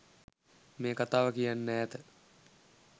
මේ කතාව කියන්න ඈත